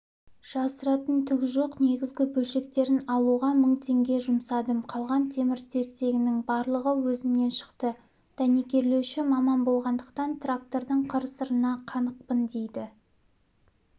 жасыратын түгі жоқ негізгі бөлшектерін алуға мың теңге жұмсадым қалған темір-тесегінің барлығы өзімнен шықты дәнекерлеуші маман болғандықтан трактордың қыр-сырына қанықпын дейді